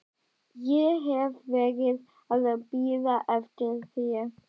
Ég hef verið að bíða eftir þér.